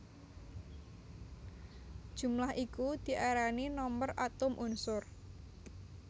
Jumlah iku diarani nomer atom unsur